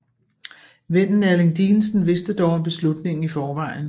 Vennen Erling Dinesen vidste dog om beslutningen i forvejen